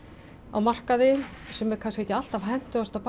á markaði sem er kannski ekki alltaf hentugasta